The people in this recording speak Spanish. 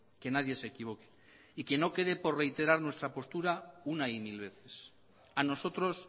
que nadie se equivoque y que no quede por reiterar nuestra postura una y mil veces a nosotros